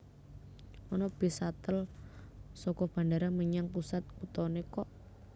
Ono bis shuttle soko bandara menyang pusat kutone kok